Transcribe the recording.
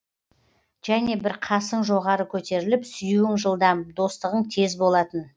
және бір қасың жоғары көтеріліп сүюің жылдам достығың тез болатын